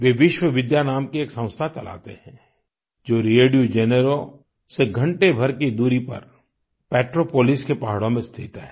वे विश्वविद्या नाम की एक संस्था चलाते हैं जो Rio de Janeiro Rio de Janeiro से घंटें भर की दूरी पर Petrópolis पेट्रोपोलिस के पहाड़ों में स्थित है